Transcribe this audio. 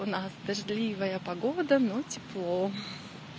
у нас дождливая погода но тепло